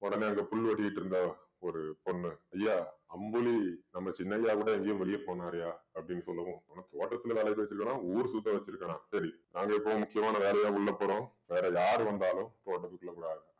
உடனே அங்க புல் வெட்டிட்டு இருந்தா ஒரு பொண்ணு ஐயா அம்புலி நம்ம சின்ன ஐயா கூட எங்கயும் வெளியே போனாருய்யா அப்படின்னு சொல்லவும் அவன தோட்டத்துல வேலைக்கு வச்சிருக்கானா ஊர் சுத்த வச்சிருக்கானா சரி நாங்க இப்போ முக்கியமான வேலையா உள்ள போறோம் வேற யாரு வந்தாலும் தோட்டத்துக்குள்ள விடாத